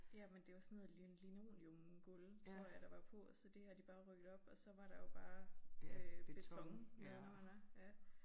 Ja men det var sådan noget linoleumsgulv tror jeg der var på så det har de bare rykket op og så var der jo bare øh beton nedenunder ja